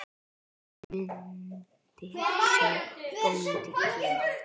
Hvað myndi sá bóndi gera?